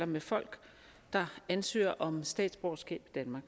med folk der ansøger om statsborgerskab